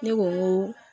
Ne ko n ko